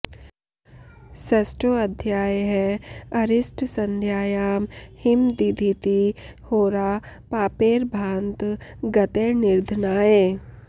षष्टोऽध्यायः अरिष्ट संध्यायां हिम दीधिति होरा पापैर्भान्त गतैर्निधनाय